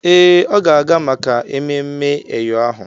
Ee, ọ ga-aga maka ememme eyo ahụ.